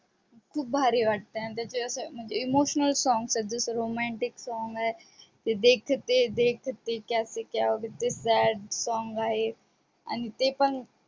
खूप भारी वाटते आणि त्याचे असे emotional songs आहेत जस romantic song हे की देखते देखते क्या से क्या song आहे आणि ते पण